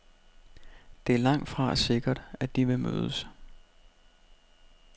Det er langtfra sikkert, at de vil mødes.